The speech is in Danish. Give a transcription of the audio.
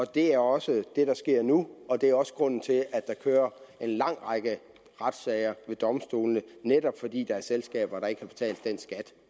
det er også det der sker nu og det er også grunden til at der kører en lang række retssager ved domstolene netop fordi der er selskaber der ikke har betalt den skat